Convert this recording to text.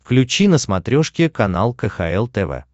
включи на смотрешке канал кхл тв